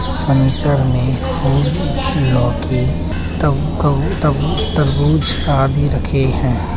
Furniture में फूल लौकी तब काउ तब-तरबूज आदि रखे हैं।